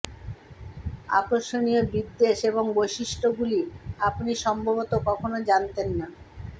আকর্ষণীয় বিদ্বেষ এবং বৈশিষ্ট্যগুলি আপনি সম্ভবত কখনও জানতেন না